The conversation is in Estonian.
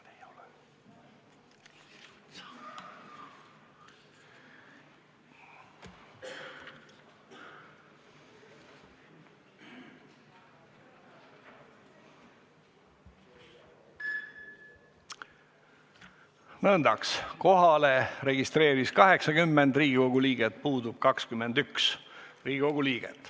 Kohaloleku kontroll Kohalolijaks registreeris end 80 Riigikogu liiget, puudub 21 Riigikogu liiget.